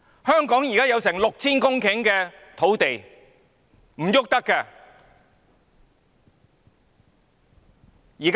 香港現在有近 6,000 公頃土地，卻動不得。